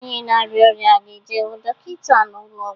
Onye na-arịa ọrịa ga-eje hụ Dọkịnta n'ụlọ ọgwọ.